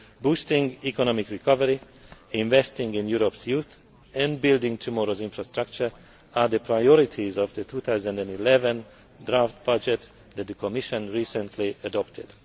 Boosting economic recovery, investing in Europe's youth and building tomorrow's infrastructure are the priorities of the 2011 draft budget that the Commission recently adopted.